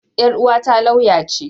Yar uwata lauya ce.